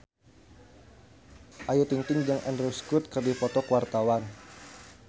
Ayu Ting-ting jeung Andrew Scott keur dipoto ku wartawan